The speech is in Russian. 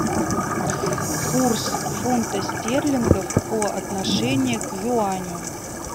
курс фунта стерлинга по отношению к юаню